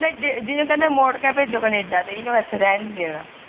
ਜਿਹਨੂੰ ਕਹਿੰਦੇ ਮੋੜ ਕੇ ਭੇਜੋ ਕਨੇਡਾ ਤੇ ਇਹਨੂੰ ਇਥੇ ਰਹਿਣ ਨੀ ਦੇਣਾ